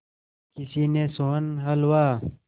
किसी ने सोहन हलवा